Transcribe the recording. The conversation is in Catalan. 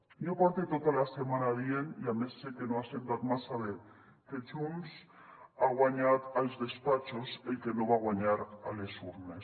jo porte tota la setmana dient i a més sé que no ha sentat massa bé que junts ha guanyat als despatxos el que no va guanyar a les urnes